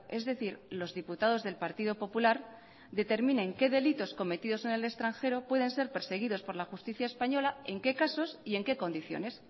es decir los diputados del partido popular determinen qué delitos cometidos en el extranjero pueden ser perseguidos por la justicia española en qué casos y en qué condiciones